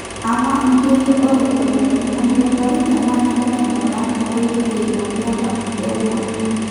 Ama, ijo yie ore olongolingoli lomareita na kidimi ainguraki enkoitoi eimu ntonat e uma.